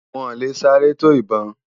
Wòn lé sárè tó ibòn